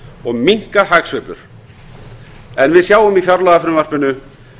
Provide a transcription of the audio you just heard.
og minnka hagsveiflur ef við sjáum í fjárlagafrumvarpinu